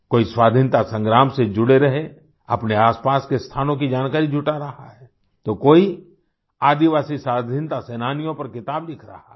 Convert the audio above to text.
कोई स्वाधीनता संग्राम से जुड़े रहे अपने आसपास के स्थानों की जानकारी जुटा रहा है तो कोई आदिवासी स्वाधीनता सेनानियों पर किताब लिख रहा है